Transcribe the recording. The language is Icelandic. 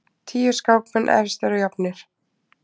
Tíu skákmenn efstir og jafnir